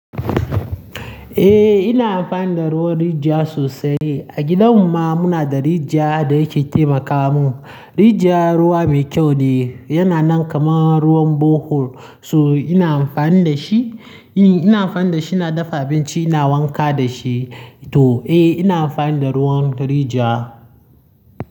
Eh ina amfani da ruwan rijiya sosai. A gidan mu ma muna da rijiya da yake taimaka mun. Rijiya ruwa mai kyau ne, yana nan kaman ruwan borehole so ina amfani da shi. Eh ina amfani da shi ina dafa abinci, ina wanka da shi to eh ina amfani da ruwan rijiya.